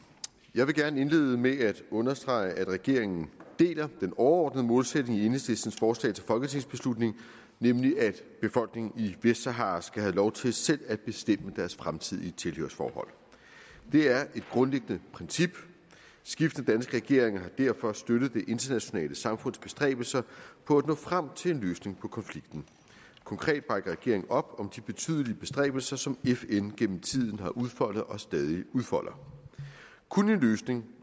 jeg vil gerne indlede med at understrege at regeringen deler den overordnede målsætning i enhedslistens forslag til folketingsbeslutning nemlig at befolkningen i vestsahara skal have lov til selv at bestemme deres fremtidige tilhørsforhold det er et grundlæggende princip skiftende danske regeringer har derfor støttet det internationale samfunds bestræbelser på at nå frem til en løsning på konflikten konkret bakker regeringen op om de betydelige bestræbelser som fn gennem tiden har udfoldet og stadig udfolder kun en løsning